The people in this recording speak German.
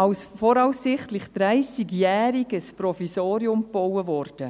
als «voraussichtlich dreissigjähriges Provisorium» gebaut.